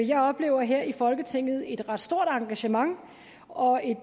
jeg oplever her i folketinget et ret stort engagement og et